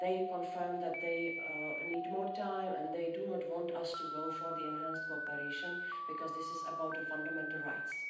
confirmed that they need more time and they do not want us to go for the enhanced cooperation, because this is about fundamental rights.